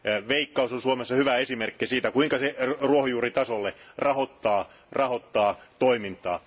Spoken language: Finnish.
Veikkaus on Suomessa hyvä esimerkki siitä, kuinka se ruohonjuuritasolla rahoittaa toimintaa.